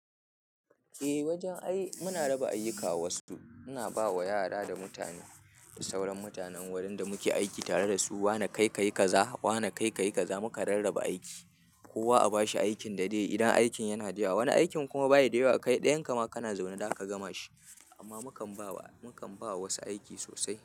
Eh, wajen ai muna raba ayyuka ma wasu. Muna bawa yara da mutane da sauran mutanen wurin da muke aiki tare da su. Wane kai ka yi kaza, wane kai ka yi kaza. Muka rarraba aiki, kowa a bashi aikin da zai yi. Idan aikin yana da yawa, wani aikin kuma bayi da yawa, kai ɗayan ka ma kana zaune, za ka gama shi. Amma mukan ba wa, mukan ba wa wasu aiki sosai.